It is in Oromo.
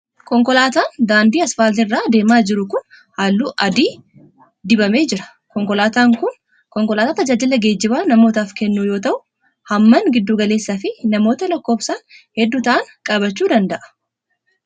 Konkolaataan daandii asfaaltii irra adeemaa jiru kun, haalluu adii adii dibamee jira. Konkolaataan kun, konkolaataa tajaajila geejibaa namootaf kennu yoo ta'u, hammaan giddu galeessa fi namoota lakkoofsan hedduu ta'an qabachuu danda'a.